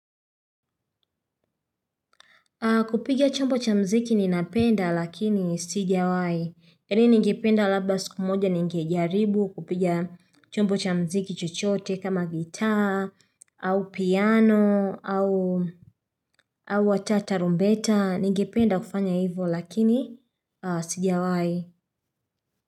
Kupiga chombo cha mziki ninapenda lakini sijawahi. Yaani ningipenda labda siku moja ningejaribu kupigia chombo cha mziki chochote kama gitaa au piano au hata tarumbeta ningependa kufanya hivyo lakini sijawahi.